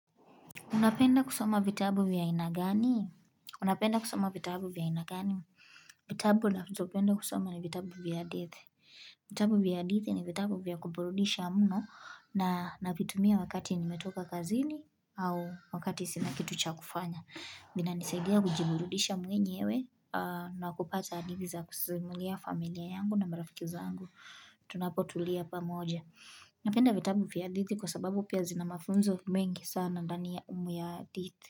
Unapenda kusoma vitabu vya aina gani? Unapenda kusoma vitabu vya aina gani? Vitabu ninazopenda kusoma ni vitabu vya hadithi. Vitabu vya hadithi ni vitabu vya kuburudisha muno na navitumia wakati nimetoka kazini au wakati sinakitucha kufanya. Vinanisaidia kujiburudisha mwenyewe na kupata hadithi za kusimulia familia yangu na marafiki zangu. Tunapotulia pamoja. Napenda vitabu vya hadithi kwa sababu pia zina mafunzo mingi sana ndani ya hadithi.